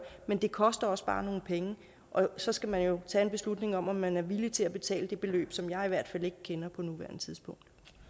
men det koster også bare nogle penge og så skal man jo tage en beslutning om om man er villig til at betale det beløb som jeg i hvert fald ikke kender på nuværende tidspunkt